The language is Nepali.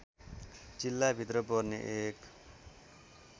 जिल्लाभित्र पर्ने एक